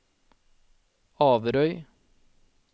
Averøy